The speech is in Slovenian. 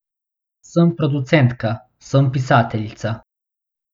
Sem producentka, sem pisateljica.